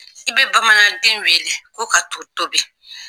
I bɛ bamananden wele ko ka to tobi